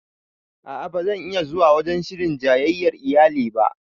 A'a ba zan iya zuwa wajen shirin jayyayar iyali ba